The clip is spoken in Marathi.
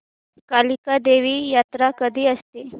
कालिका देवी यात्रा कधी असते